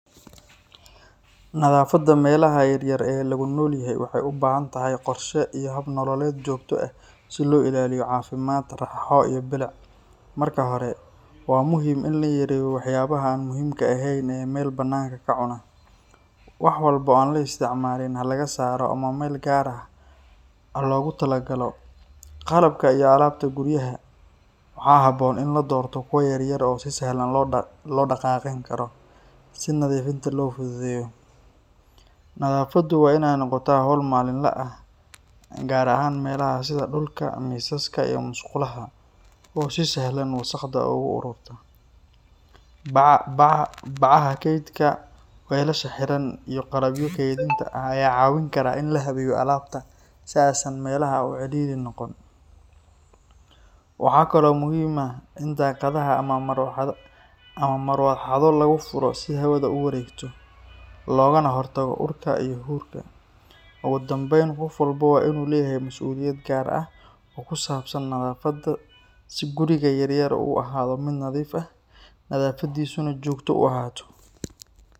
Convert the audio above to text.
Nadaafadda meelaha yaryar ee lagu nool yahay waxay u baahan tahay qorshe iyo hab nololeed joogto ah si loo ilaaliyo caafimaad, raaxo iyo bilic. Marka hore, waa muhiim in la yareeyo waxyaabaha aan muhiimka ahayn ee meel bannaan ka cuna; wax walba oo aan la isticmaalin ha laga saaro ama meel gaar ah ha loogu tala-galo. Qalabka iyo alaabta guryaha waxaa habboon in la doorto kuwa yaryar oo si sahlan loo dhaqaaqin karo, si nadiifinta loo fududeeyo. Nadaafaddu waa in ay noqotaa hawl maalinle ah, gaar ahaan meelaha sida dhulka, miisaska, iyo musqulaha oo si sahlan wasakhda ugu ururta. Bacaha kaydka, weelasha xiran, iyo qalabyo kaydinta ah ayaa caawin kara in la habeeyo alaabta si aysan meelaha u cidhiidhi noqon. Waxaa kaloo muhiim ah in daaqadaha ama marawaxado lagu furo si hawada u wareegto, loogana hortago urka iyo huurka. Ugu dambayn, qof walba waa inuu leeyahay mas’uuliyad gaar ah oo ku saabsan nadaafadda si guriga yaryar uu u ahaado mid nadiif ah, nadaafadiisuna joogto u ahaato.